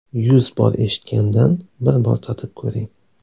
Yuz bor eshitgandan bir bor tatib ko‘ring!